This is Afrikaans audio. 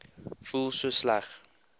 voel so sleg